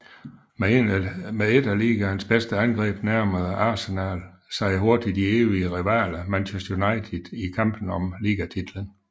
Med et af ligaens bedste angreb nærmede Arsenal sig hurtigt de evige rivaler Manchester United i kampen om ligatitlen